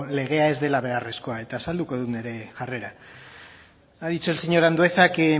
legea ez dela beharrezkoa eta azalduko dut nire jarrera ha dicho el señor andueza que